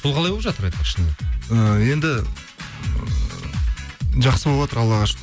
сол қалай болып жатыр айтпақшы шынымен і енді ы жақсы болыватыр аллаға шүкір